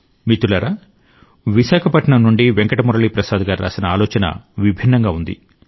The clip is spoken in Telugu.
మిత్రులారా విశాఖపట్నం నుండి వెంకట మురళీ ప్రసాద్ గారు రాసిన ఆలోచన విభిన్నంగా ఉంది